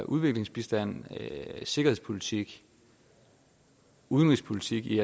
udviklingsbistand sikkerhedspolitik og udenrigspolitik i